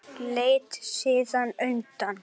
Leit síðan undan.